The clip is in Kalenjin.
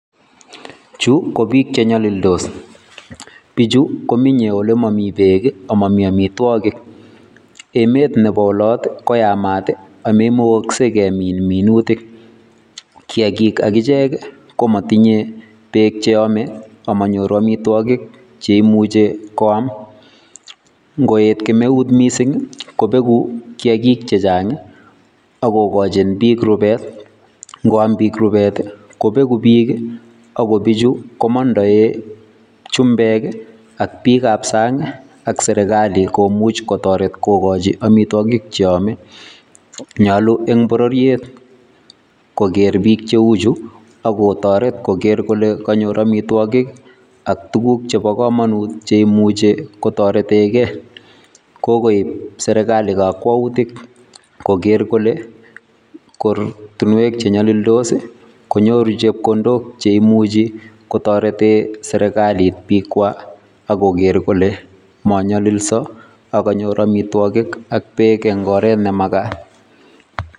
Chuu ko biik che nyalildos bichuu ko biik menyei ole mamii beek ii ako mamii amitwagiik emet nebo olataan ko yamaat ii ago maimukasgei kemiin minutiik, kiagiik agicheek ii kimatinyei beek che amee a manyoruu amitwagiik chekimuchei koyaam ngoet kemeuut missing ii kobeguu kiagiik chechaang ii ak kigochiin biik rupeet kobeguu biik ii ago en bichuu komandaen chumbeek ii ak biik ab saang ak serikali komuuch kotaretiin koaaljii amitwagiik che amee nyaluu en bororiet koger biik che uu chuu ako taretet koger kole kanyoor amitwagiik ak tuguuk chebo kamanut chemuchei kotaretengei ,kokoib serikali kakwautiik koger kole koratinweek che nyalildos koinyoruu chepkondook cheimuchii kotareteen serikaliit biik kwaak ak koger kole manyalisaa ako kanyoor amitwagiik ak beek en oret ne magaat.